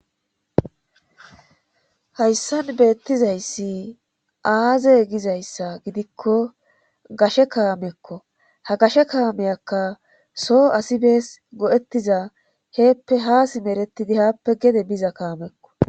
hayssan beettizayssi aaze gizayssa gidikko gashe kaamekko ha gashe kaameyakka so asibees godettiza heeppe haa simeretidi haappe gede biza kaamekko